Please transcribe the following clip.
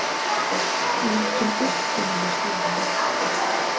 Líkin ultu niður stigann.